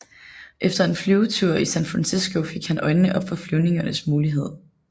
Efter en flyvetur i San Francisco fik han øjnene op for flyvningens muligheder